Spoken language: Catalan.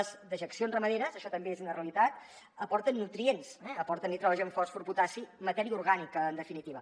les dejeccions ramaderes això també és una realitat aporten nutrients aporten nitrogen fòsfor potassi matèria orgànica en definitiva